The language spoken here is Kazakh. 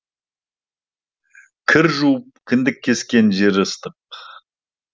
кір жуып кіндік кескен жері ыстық